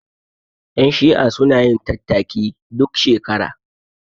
Ƴan shi'a sunayin tattaki duk shekara